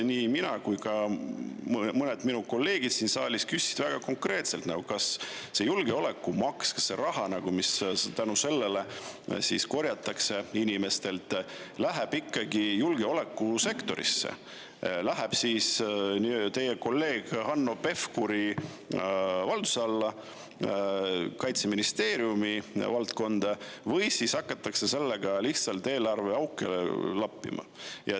Mina ja ka mõned minu kolleegid siin saalis küsisime väga konkreetselt, kas see julgeolekumaks, kas see raha, mis selle abil korjatakse inimestelt kokku, läheb ikkagi julgeolekusektorisse, läheb nii-öelda teie kolleegi Hanno Pevkuri valduse alla, Kaitseministeeriumi valdkonda, või hakatakse sellega lihtsalt eelarveauke lappima.